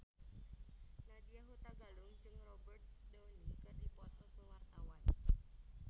Nadya Hutagalung jeung Robert Downey keur dipoto ku wartawan